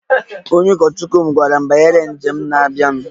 Onye ụkọchukwu m gwara m banyere njem njem na-abịanụ